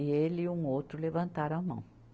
E ele e um outro levantaram a mão.